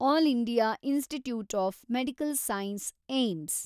all India institute of medical science , AIIMS